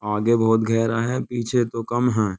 आगे बहुत गहरा है पीछे तो कम है --